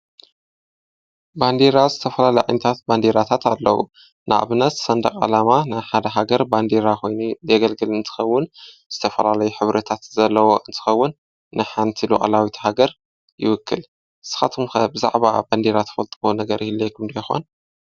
ባንዴራ፡- ዝተፈላላዩ ዓይነታት ባንዲራታት ኣለዉ፡፡ ንኣብነት ሰንደቕ ዓላማ ንሓደ ሃገር ባንዴራ ኾይኑ ዘገልግል እንትኸውን ዝተፈላለዩ ሕብረታት ዘለዎ እንትኸውን ንሓንቲ ሉኣላዊት ሃገር ይውክል፡፡ ስኻትኩም ከ ብዛዕባ ባንዴራ ትፈልጥዎ ነገር ይህልየኹም ዶ ይኾን?